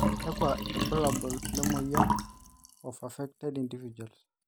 kakua irbulabol le moyian e of affected individuals.